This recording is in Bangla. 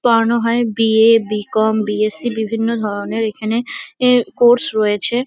পড়ানো হয় B .A. B . Com. B . S C.. বিভিন্ন ধরনের এখানে এ কোর্স রয়েছে।